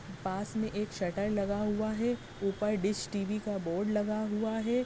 पास में एक शटर लगा हुआ है ऊपर डिश टी.वी. का बोर्ड लगा हुआ है।